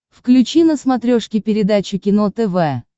включи на смотрешке передачу кино тв